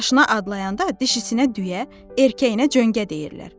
Üç yaşına adlayanda dişisinə düyə, erkəyinə cöngə deyirlər.